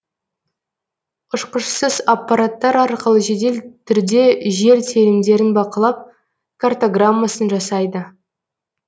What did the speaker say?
ұшқышсыз аппараттар арқылы жедел түрде жер телімдерін бақылап картаграммасын жасайды